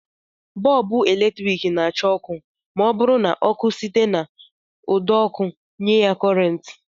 Bọlbụ eletrik na-adị acha ọkụ ma ọ bụrụ na ọkụ site n'ụdọọkụ nye ya kọrentị